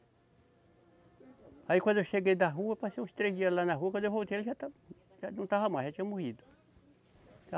Aí quando eu cheguei da rua, passei uns três dias lá na rua, quando eu voltei ele já estava, já não estava mais, já tinha morrido.